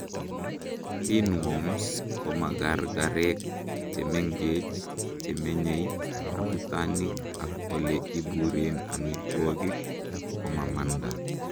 pinworms komagargarek chemengech chemenyei abutanik ak ole iburen amitwogik komamanda